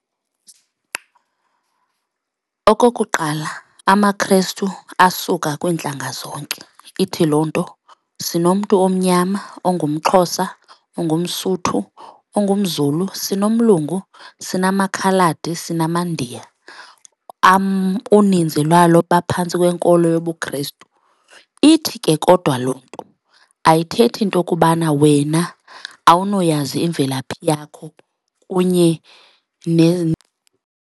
Okokuqala amaKhrestu asuka kwiintlanga zonke ithi loo nto sinomntu omnyama ongumXhosa, ongumSotho, ongumZulu, sinomlungu, sinamakhaladi, sinamaNdiya, uninzi lwalo baphantsi kwenkolo yobuKhrestu. Ithi ke kodwa loo nto ayithethi into kubana wena awunoyazi imvelaphi yakho kunye .